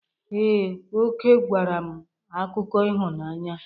Ee, Oke gwara m akụkọ ịhụnanya.